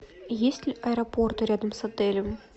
есть ли аэропорты рядом с отелем